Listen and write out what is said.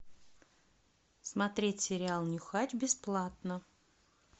смотреть сериал нюхач бесплатно